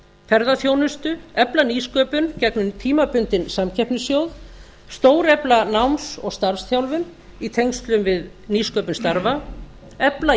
ferðaþjónustu efla nýsköpun gegnum tímabundinn samkeppnissjóð stórefla starfs og námsþjálfun í tengslum við nýsköpun starfa efla